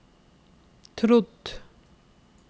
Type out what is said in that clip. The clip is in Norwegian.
trodd